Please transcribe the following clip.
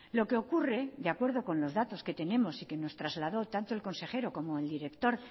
lo que ocurre de acuerdo con los datos que tenemos y que nos trasladó tanto el consejero como el director